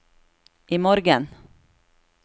imorgen